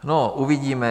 No, uvidíme.